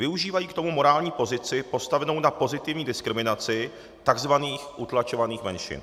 Využívají k tomu morální pozici postavenou na pozitivní diskriminaci tzv. utlačovaných menšin.